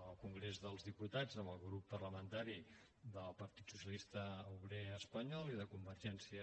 al congrés dels diputats amb el grup parlamentari del partit socialista obrer espanyol i de convergència